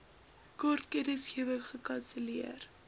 kort kennisgewing gekanselleer